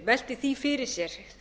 velti því fyrir sér